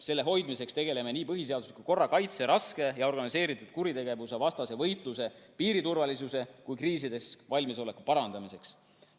Selle hoidmiseks tegeleme nii põhiseadusliku korra kaitse, raske ja organiseeritud kuritegevuse vastase võitluse, piiriturvalisuse kui ka kriisideks valmisoleku parandamisega.